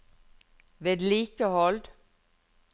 vedlikehold